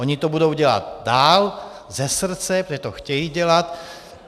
Oni to budou dělat dál, ze srdce, protože to chtějí dělat.